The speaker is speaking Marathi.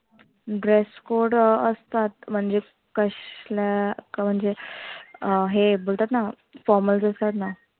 Dress code असतात म्हणजे कसल्या म्हणजे अं हे बोलतात ना formals असतात ना.